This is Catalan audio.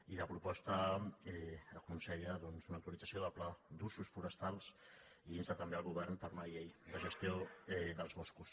i la proposta aconsella doncs una actualitza·ció del pla d’usos forestals i insta també el govern per una llei de gestió dels boscos